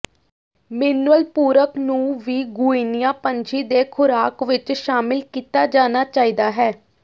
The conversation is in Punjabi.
ਮਿਨਰਲ ਪੂਰਕ ਨੂੰ ਵੀ ਗੁਇਨੀਆ ਪੰਛੀ ਦੇ ਖੁਰਾਕ ਵਿੱਚ ਸ਼ਾਮਿਲ ਕੀਤਾ ਜਾਣਾ ਚਾਹੀਦਾ ਹੈ